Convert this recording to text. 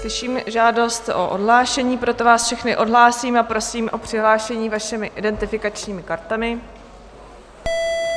Slyším žádost o odhlášení, proto vás všechny odhlásím a prosím o přihlášení vašimi identifikačními kartami.